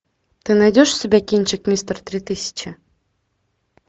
ты найдешь у себя кинчик мистер три тысячи